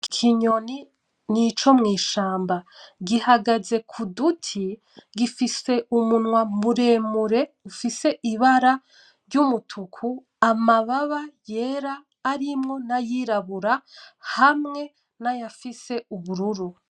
Ikinyoni nico mw'ishamba gihagaze k'uduti, gifise umunwa muremure ufise ibara ry'umutuku, amababa yera arimwo nayirabura hamwe nayafise ubururu.